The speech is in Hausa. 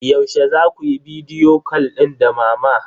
Yaushe za ku yi bidiyo cal din da mama?